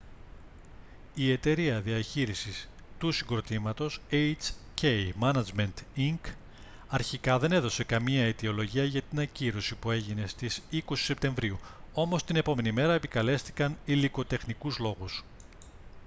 η εταιρεία διαχείρισης του συγκροτήματος hk management inc αρχικά δεν έδωσε καμία αιτιολογία για την ακύρωση που έγινε στις 20 σεπτεμβρίου όμως την επόμενη μέρα επικαλέστηκαν υλικοτεχνικούς λόγους